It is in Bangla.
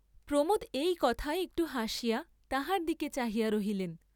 প্রমোদ এই কথায় একটু হাসিয়া তাহার দিকে চাহিয়া রহিলেন।